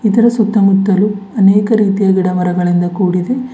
ಇದರ ಸುತ್ತಮುತ್ತಲು ಅನೇಕ ರೀತಿಯ ಗಿಡ ಮರಗಳಿಂದ ಕೊಡಿದೆ.